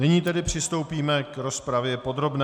Nyní tedy přistoupíme k rozpravě podrobné.